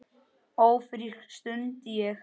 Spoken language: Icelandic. Ófrísk? stundi ég.